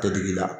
Tɛ digi la